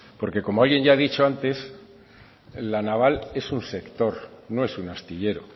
porque como alguien ya ha dicho antes la naval es un sector no es un astillero